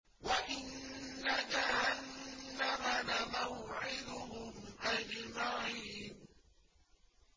وَإِنَّ جَهَنَّمَ لَمَوْعِدُهُمْ أَجْمَعِينَ